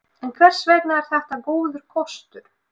En hvers vegna er þetta góður kostur?